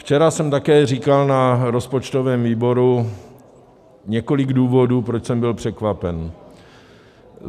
Včera jsem také říkal na rozpočtovém výboru několik důvodů, proč jsem byl překvapen.